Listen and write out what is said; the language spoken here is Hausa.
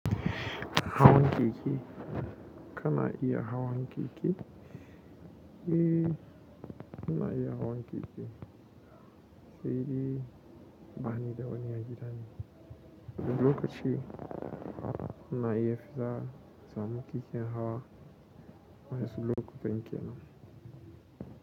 Hawan keke kana iya hawan keke, eh ina iya hawan keke, sai dai ba ni da wani agidane wani lokaci ina iya fita insamu keken hawa wasu lokutan kenan.